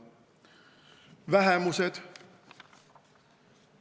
Vähemused.